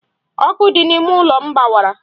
Ọkụ dị n'ime ụlọ m gbawara.